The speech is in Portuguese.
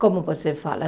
Como você fala?